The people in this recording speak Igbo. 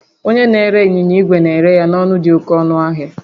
Onye na-ere ịnyịnya igwe na-ere ya n'ọnụ dị oke ọnụ ahịa